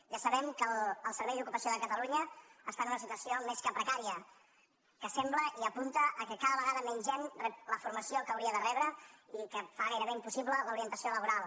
ja sabem que el servei d’ocupació de catalunya està en una situació més que precària que sembla i apunta al fet que cada vegada menys gent rep la formació que hauria de rebre i que fa gairebé impossible l’orientació laboral